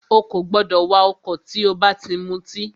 Ó kò gbọdọ̀ wà ọ̀kọ̀ nígbà tí o bá ti mutí!